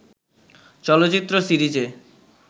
চলচ্চিত্র সিরিজে